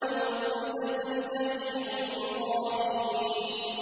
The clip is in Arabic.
وَبُرِّزَتِ الْجَحِيمُ لِلْغَاوِينَ